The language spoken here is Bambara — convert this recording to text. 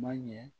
Ma ɲɛ